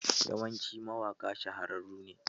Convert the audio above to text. Yawancin mawaƙa shahararru ne.